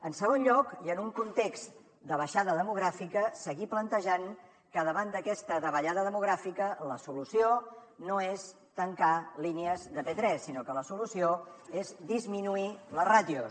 en segon lloc i en un context de baixada demogràfica seguir plantejant que davant d’aquesta davallada demogràfica la solució no és tancar línies de p3 sinó que la solució és disminuir les ràtios